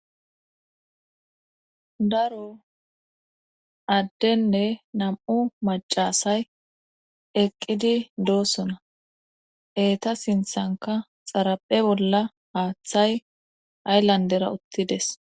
daro addenne nam7u macasay eqqidi doosona eeta sinthanka xaraphe bolla haaththay ayllandera uttides